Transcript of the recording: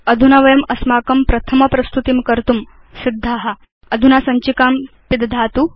अधुना वयम् अस्मत् प्रथम प्रस्तुतिं कर्तुं सिद्धा 160 अधुना सञ्चिकां पिदधातु